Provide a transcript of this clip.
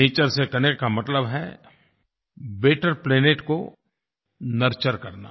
nature से connect का मतलब है बेटर प्लैनेट को नर्चर करना